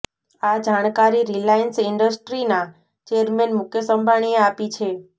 આ જાણકારી રિલાયન્સ ઇન્ડસ્ટ્રીના ચેરમેન મુકેશ અંબાણીએ આપી છે